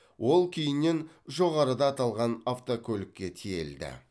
ол кейіннен жоғарыда аталған автокөлікке тиелді